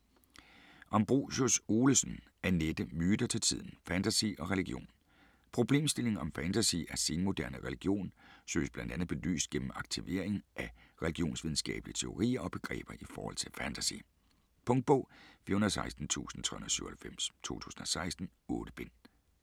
Ambrosius-Olesen, Annette: Myter til tiden: fantasy og religion Problemstillingen, om fantasy er senmoderne religion, søges bl.a. belyst gennem aktivering af religionsvidenskabelige teorier og begreber i forhold til fantasy. Punktbog 416397 2016. 8 bind.